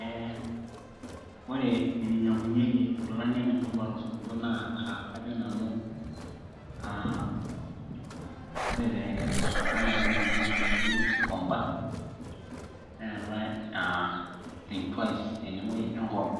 Eeh ore eninyiang'unyieki inkilani emutumba tosupuko naa aa kajo nanu aa ore tosupuko naa kinyang'unyieki ewueji naji kikoomba neetai aa think twice tene wueji e ngong